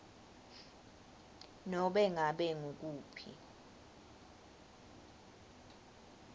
nobe ngabe ngukuphi